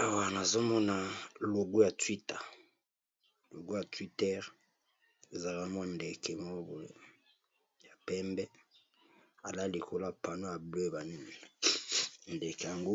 Awa nazo mona logo ya twita, logo ya Twitter ezalaka mwa ndeke moko boye ya pembe alali likolo ya pano ya bleu ba nini ndeke ango